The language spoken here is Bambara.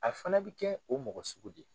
A fɛnɛ bɛ kɛ o mɔgɔ sugu de ye.